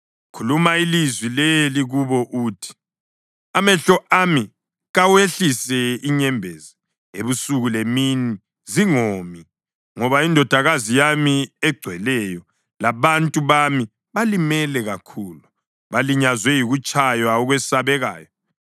Khuluma ilizwi leli kubo uthi: ‘Amehlo ami kawehlise inyembezi ebusuku lemini zingomi; ngoba indodakazi yami egcweleyo, labantu bami balimele kakhulu, balinyazwe yikutshaywa okwesabekayo.